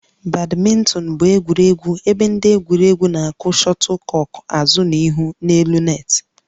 Badminton bụ egwuregwu ebe ndị egwuregwu na-akụ shuttlecock azụ na azụ n'elu net